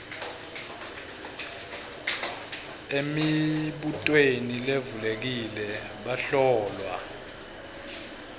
emibutweni levulekile bahlolwa